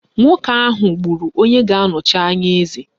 Nwoke ahụ gburu onye ga-anọchi anya eze